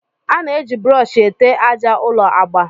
A na-eji brọọshị ete àjà ụlọ agba